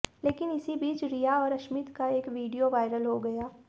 लेकिन इसी बीच रिया और अश्मित का एक वीडियो वायरल हो गया